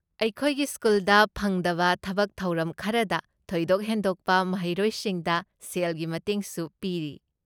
ꯑꯩꯈꯣꯏꯒꯤ ꯁ꯭ꯀꯨꯜꯗ ꯐꯪꯗꯕ ꯊꯕꯛ ꯊꯧꯔꯝ ꯈꯔꯗ ꯊꯣꯏꯗꯣꯛ ꯍꯦꯟꯗꯣꯛꯄ ꯃꯍꯩꯔꯣꯏꯁꯤꯡꯗ ꯁꯦꯜꯒꯤ ꯃꯇꯦꯡꯁꯨ ꯄꯤꯔꯤ꯫